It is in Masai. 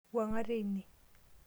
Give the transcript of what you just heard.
wuang'a tene